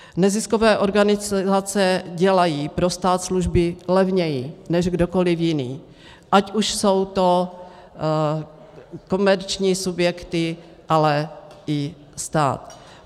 Neziskové organizace dělají pro stát služby levněji než kdokoliv jiný, ať už jsou to komerční subjekty, ale i stát.